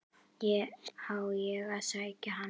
Á ég að sækja hann?